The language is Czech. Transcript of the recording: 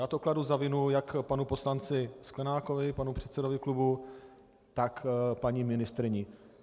Já to kladu za vinu jak panu poslanci Sklenákovi, panu předsedovi klubu, tak paní ministryni.